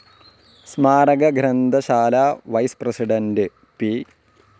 സ്മാരക ഗ്രന്ഥശാലാ vice president, P.